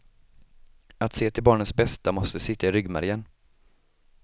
Att se till barnens bästa måste sitta i ryggmärgen.